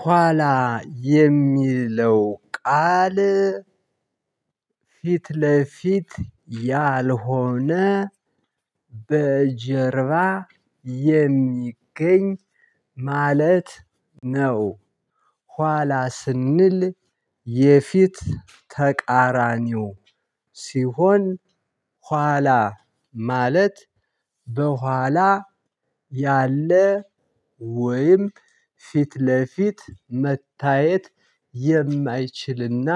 ኋላ የሚለው ቃል ፊት ለፊት ያልሆነ በጀርባ የሚገኝ ማለት ነው። ኋላ ስንል የፊት ተቃራኒው ሲሆን ኋላ ማለት በኋላ ያለ ወይም ፊት ለፊት መታየት የማይችልና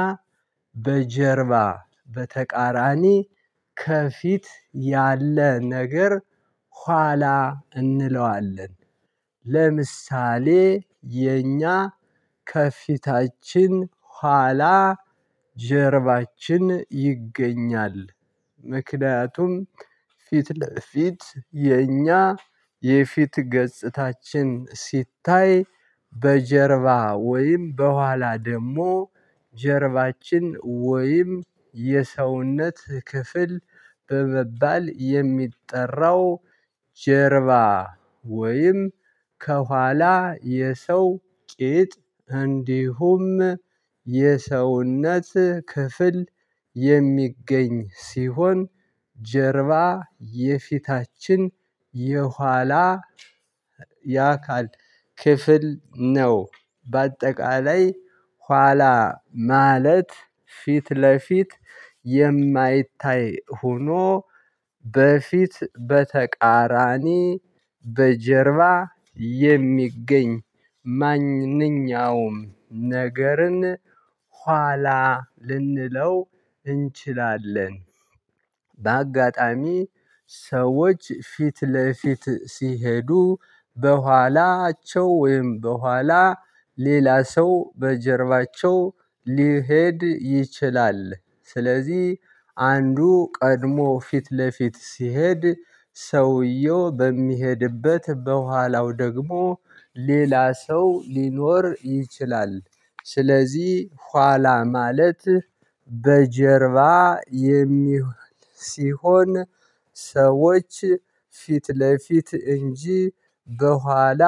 በጀርባ በተቃራኒ ከፊት ያለ ነገር ኋላ እንለዋለን። ለምሳሌ የኛ ከፊታችን ኋላ ጀርባችን ይገኛል። ምክንያቱም ፊት ለፊት የኛ የፊት ገጽታችን ሲታይ በጀርባ ወይም በኋላ ደግሞ ጀርባችን ወይም የሰውነት ክፍል በመባል የሚጠራው ጀርባ ወይም ከኋላ የሰው ቂጥ እንዲሁም የሰውነት ክፍል የሚገኝ ሲሆን ጀርባ የፊታችን የኋላ የአካል ክፍል ነው። በአጠቃላይ ኋላ ማለት ፊት ለፊት የማይታይ ሆኖ በፊት በተቃራኒ በጀርባ የሚገኝ ማንኛውም ነገርን ኋላ ልንለው እንችላለን። በአጋጣሚ ሰዎች ፊት ለፊት ሲሄዱ በኋላቸው ወይም በኋላ ሌላ ሰው በጀርባቸው ሊሄድ ይችላል። ስለዚህ አንዱ ቀድሞ ፊት ለፊት ሲሄድ ሰውየው በሚሄድበት በኋላው ደግሞ ሌላ ሰው ሊኖር ይችላል። ስለዚህ ኋላ ማለት በጀርባ። ሲሆን ሰዎች ፊት ለፊት እንጂ በኋላ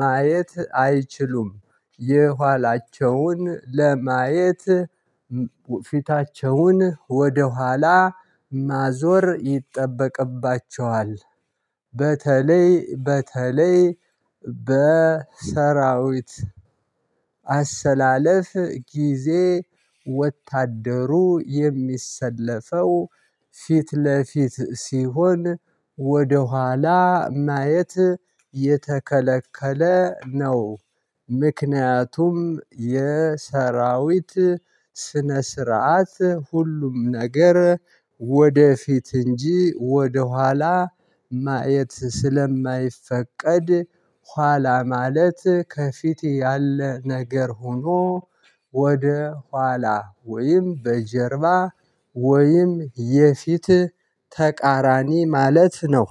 ማየት አይችሉም የኋላቸውን ለማየት ፊታቸውን ወደኋላ ማዞር ይጠበቅባቸዋል። በተለይ በተለይ በሰራዊት አሰላለፍ ጊዜ ወታደሩ የሚሰለፈው ፊት ለፊት ሲሆን ወደኋላ ማየት የተከለከለ ነው። ምክንያቱም የሰራዊት ስነ ስርዓት ሁሉም ነገር ወደፊት እንጂ ወደኋላ ማየት ስለማይፈቀድ። ኋላ ማለት ከፊቴ ያለ ነገር ሆኖ ወደ ኋላ ወይም በጀርባ ወይም የፊት ተቃራኒ ማለት ነው